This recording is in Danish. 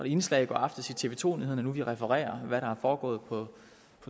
indslag i aftes i tv to nyhederne nu vi refererer hvad der er foregået på